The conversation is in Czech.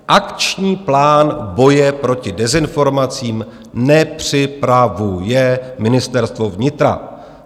Akční plán boje proti dezinformacím nepřipravuje Ministerstvo vnitra.